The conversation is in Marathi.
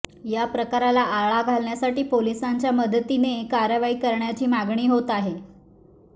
या प्रकाराला आळा घालण्यासाठी पोलिसांच्या मदतीने कारवाई करण्याची मागणी होत आहे